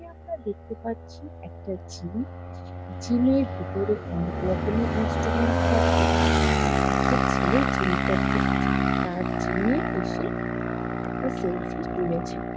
এখানে আমরা দেখতে পাচ্ছি একটা জিম । জিম -এর ভিতরে অনেক রকমের ইনস্ট্রুমেন্ট থাকে। আর একটা ছেলে জিম করতে এসেছে। আর জিম -এ এসে একটা সেলফি তুলেছে ।